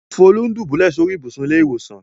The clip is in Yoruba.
Folú ń dùbúlẹ̀ sórí ibùsùn ilé-ìwòsàn.